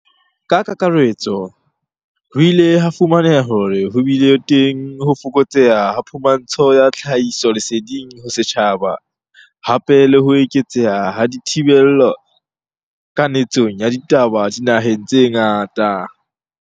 Ka kakaretso, ho ile ha fu maneha hore ho bile teng ho fokotseha ha phumantsho ya tlhahisoleseding ho setjhaba, hape le ho eketseha ha dithi bello kanetsong ya ditaba dinaheng tse ngata.